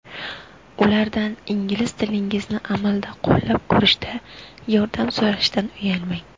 Ulardan ingliz tilingizni amalda qo‘llab ko‘rishda yordam so‘rashdan uyalmang.